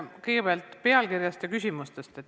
Kõigepealt pealkirjast ja küsimustest.